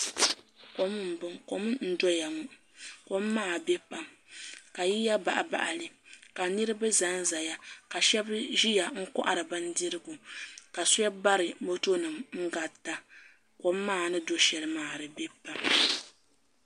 Kom n doya ŋo kom maa biɛ pam ka yiya baɣabaɣali ka niraba ʒɛnʒɛya ka shab ʒiya n kohari bindirigu ka shan bari moto nim n garita kom maa ni do shɛli maa di biɛ pam